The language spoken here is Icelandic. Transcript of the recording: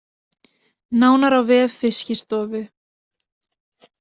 Nánar á vef Fiskistofu